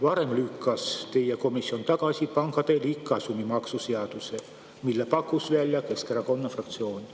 Varem lükkas teie komisjon tagasi pankade liigkasumi maksu seaduse, mille pakkus välja Keskerakonna fraktsioon.